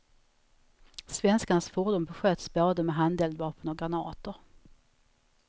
Svenskarnas fordon besköts både med handeldvapen och granater.